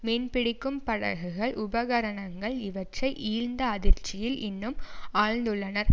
மீன் பிடிக்கும் படகுகள் உபகரணங்கள் இவற்றை இழ்ந்த அதிர்ச்சியில் இன்னும் ஆழ்ந்துள்ளனர்